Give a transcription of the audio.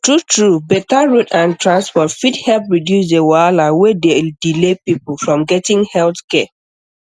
truetrue better road and transport fit help reduce the wahala wey dey delay people from getting health care